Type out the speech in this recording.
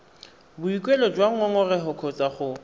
boikuelo jwa ngongorego kgotsa go